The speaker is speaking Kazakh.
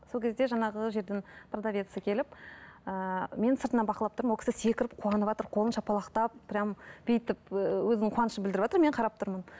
сол кезде жаңағы жердің продовеці келіп ыыы мен сыртынан бақылап тұрмын ол кісі секіріп қуаныватыр қолын шапалақтап прямо бүйтіп ііі өзінің қуанышын білдіріватыр мен қарап тұрмын